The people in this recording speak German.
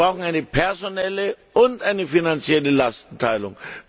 Wir brauchen eine personelle und eine finanzielle Lastenteilung.